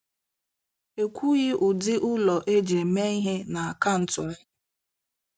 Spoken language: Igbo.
Ekwughị ụdị ụlọ eji eme ihe na akaụntụ ahụ.